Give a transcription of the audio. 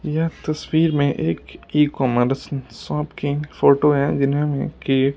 यह तस्वीर में एक ई कॉमर्स शॉप की फोटो है जिनमें के--